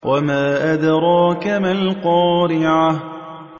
وَمَا أَدْرَاكَ مَا الْقَارِعَةُ